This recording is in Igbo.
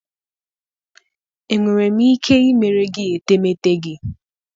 Enwere m ike ịmere gị etemeete gị?